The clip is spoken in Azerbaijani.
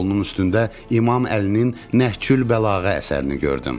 Stolunun üstündə İmam Əlinin Nəhcül Bəlağə əsərini gördüm.